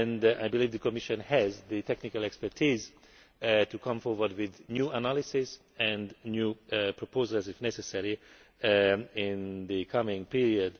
I believe the Commission has the technical expertise to come forward with new analyses and new proposals, if necessary, in the coming period.